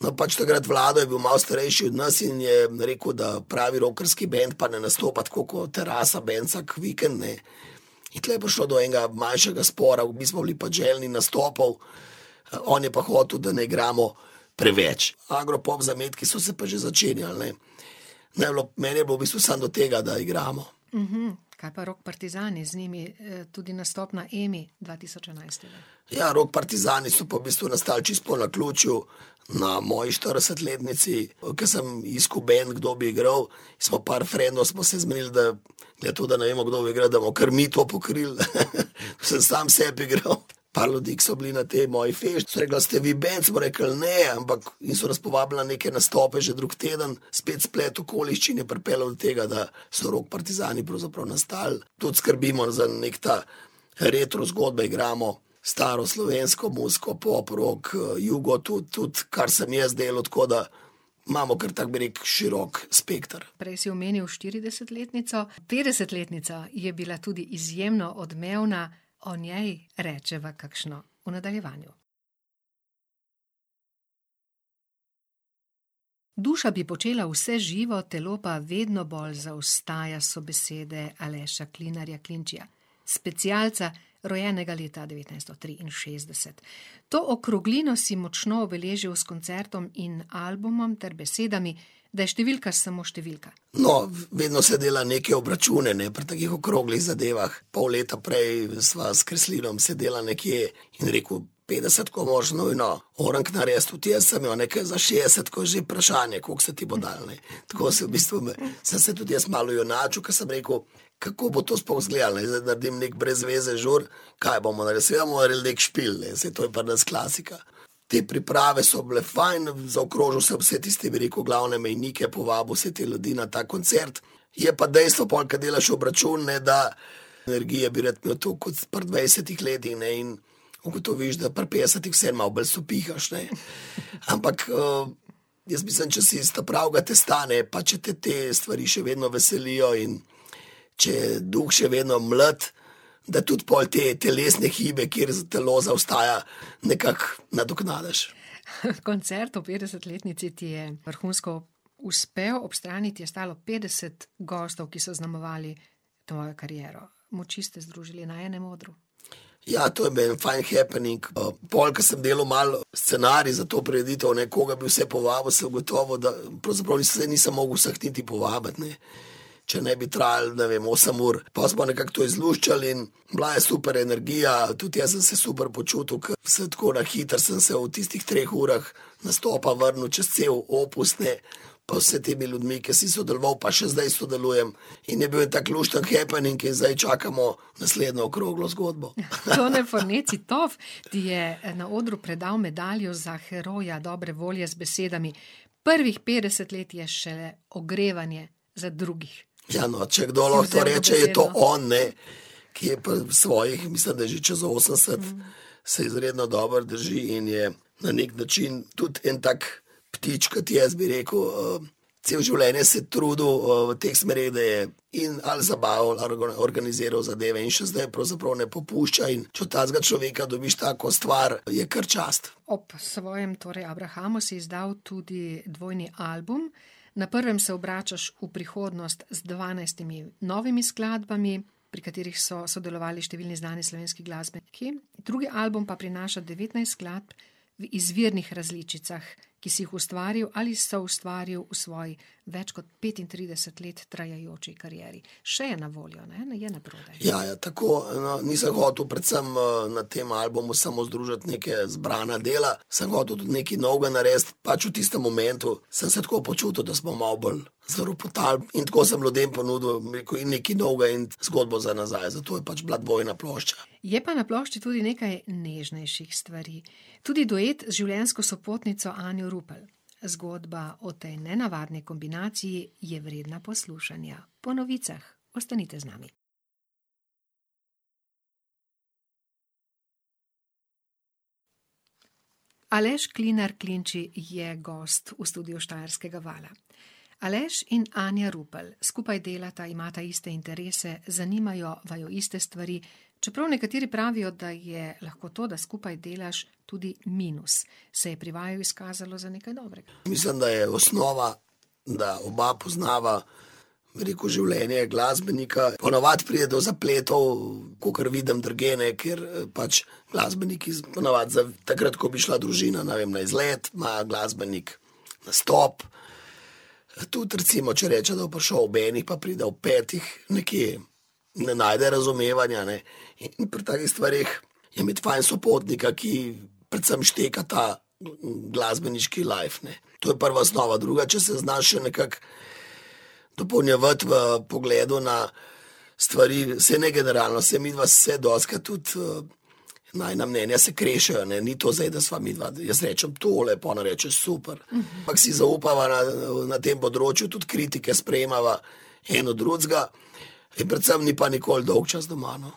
No, pač takrat Vlado je bil malo starejši od nas in je rekel, da pravi rockerski bend pa ne nastopa tako kot rasa , ne, in tule je prišlo do enega manjšega spora, mi smo bili pač željni nastopov, on je pa hotel, da ne igramo preveč. Agropop zametki so se pa že začenjali, ne. Meni je bilo, meni je bilo v bistvu samo do tega, da igramo. Kaj pa Rok partyzani, z njimi, tudi nastop na Emi dva tisoč enajst? Ja, Rock partyzani so pa v bistvu nastali čisto po naključju na moji štiridesetletnici, ke sem iskal bend, kdo bi igral, smo par frendov, smo se zmenili, da da je to, da ne vemo, kdo bo igral, da bomo kar mi to pokrili, . Sem sam sebi igral. Par ljudi, ke so bili na tej moji fešti, so rekli: "A ste vi bend?" Smo rekli: "Ne, ampak ..." In so nas povabili na neke nastope že drug teden, spet splet okoliščin je pripeljal do tega, da so Rock partyzani pravzaprav nastali. Tudi skrbimo za neki ta ... Retro zgodbe igramo, staro slovensko muziko, pop, rock, jugo, tudi, tudi, kar sem jaz delal, tako da imamo kar tako, bi rekel, širok spekter. Prej si omenil štiridesetletnico, petdesetletnica je bila tudi izjemno odmevna, o njej rečeva kakšno v nadaljevanju. Duša bi počela vse živo, telo pa vedno bolj zaostaja, so besede Aleša Klinarja - Klinčija, specialca, rojenega leta devetnajststo triinšestdeset. To okroglino si močno obeležil s koncertom in albumom ter besedami, da je številka samo številka. No, vedno se dela neke obračune, ne, pri takih okroglih zadevah. Pol leta prej sva sedela s Kreslinom nekje in je rekel: "Petdesetko moraš nujno orenk narediti, tudi jaz sem jo, ne, ker za šestko že vprašanje, koliko se ti bo dalo, ne." Tako sem v bistvu, sem se tudi jaz malo ojunačil, ke sem rekel, kako bo to sploh izgledalo, ne, da naredim neki brez veze žur, kaj bomo naredili, seveda bomo naredili neki špil, ne, saj to je pri nas klasika. Te priprave so bile fajn, zaokrožil sem vse te tiste, bi rekel, glavne mejnike, povabil vse te ljudi na ta koncert. Je pa dejstvo, pol ko delaš obračun, ne, da energije bi rad imel toliko kot pri dvajsetih letih, ne, in ugotoviš, da pri petdesetih vseeno malo bolj sopihaš, ne. Ampak, jaz mislim, če si iz ta pravega testa, ne, pa če te te stvari še vedno veselijo in če je duh še vedno mlad, da tudi pol te, telesne hibe, kjer telo zaostaja, nekako nadoknadiš. koncert ob petdesetletnici ti je vrhunsko uspel, ob strani ti je stalo petdeset gostov, ki so zaznamovali tvojo kariero. Moči ste združili na enem odru. Ja, to je bil en fajn happening, pol ko sem delal malo scenarij za to prireditev, ne, koga bi vse povabil, sem ugotovil, da pravzaprav saj nisem mogel vseh niti povabiti, ne. Če ne bi trajalo, ne vem, osem ur. Pol smo nekako to izluščili in bila je super energija, tudi jaz sem se super počutil, ko sem tako, na hitro sem se v tistih treh urah nastopa vrnil čez cel opus, ne. Pa z vsemi temi ljudmi, ki si sodeloval pa še zdaj sodelujem. In je bil en tak lušten happening in zdaj čakamo naslednjo okroglo zgodbo. Tone Fornezzi - Tof ti je na odru predal medaljo za heroja dobre volje z besedami: "Prvih petdeset let je še ogrevanje za drugih." Ja, no, če kdo lahko to reče, je to on, ne, ki je pri svojih, mislim da že čez osemdeset, se izredno dobro drži in je na neki način tudi en tak ptič kot jaz, bi rekel, celo življenje se je trudil v teh stvareh, da je in ali zabavo organiziral zadeve, in še zdaj pravzaprav ne popušča, in če od takega človeka dobiš tako stvar, je kar čast. Ob svojem torej abrahamu si izdal tudi dvojni album, na prvem se obračaš v prihodnost z dvanajstimi novimi skladbami, pri katerih so sodelovali številni znani slovenski glasbeniki, drugi album pa prinaša devetnajst skladb, v izvirnih različicah, ki si jih ustvaril ali soustvaril v svoji več kot petintrideset let trajajoči karieri. Še je na voljo, ne, je naprodaj? Ja, ja, tako, no, nisem hotel predvsem, na tem albumu samo združiti neka zbrana dela, sem hotel tudi nekaj novega narediti. Pač v tistem momentu sem se tako počutil, da smo malo bolj zaropotali, in tako sem ljudem ponudil, bom rekel, in nekaj novega in zgodbo za nazaj, zato je pač bila dvojna plošča. Je pa na plošči tudi nekaj nežnejših stvari. Tudi duet z življenjsko sopotnico Anjo Rupel. Zgodba o tej nenavadni kombinaciji je vredna poslušanja. Po novicah, ostanite z nami. Aleš Klinar - Klinči je gost v studiu Štajerskega vala. Aleš in Anja Rupel skupaj delata, imata iste interese, zanimajo vaju iste stvari. Čeprav nekateri pravijo, da je lahko to, da skupaj delaš, tudi minus, se je pri vaju izkazalo za nekaj dobrega. Mislim, da je osnova, da oba poznava, bi rekel, življenje glasbenika. Ponavadi pride do zapletov, kakor vidim drugje, ne, kjer pač, glasbeniki ponavadi za takrat, ko bi šla družina, ne vem, na izlet, ima glasbenik nastop. Tudi recimo, če reče, da bo prišel ob enih, pa pride ob petih nekje, ne najde razumevanja, ne. In pri takih stvareh je imeti fajn sopotnika, ki predvsem šteka ta glasbeniški life, ne. To je prva osnova, druga, če se znaš še nekako dopolnjevati v pogledu na stvari, saj ne generalno, saj midva se dostikrat tudi, najina mnenja se krešejo, ne, ni to zdaj, da sva midva, jaz rečem tole, pa ona reče super. Ampak si zaupava na, na tem področju, tudi kritike sprejemava en od drugega in predvsem ni pa nikoli dolgčas doma, no.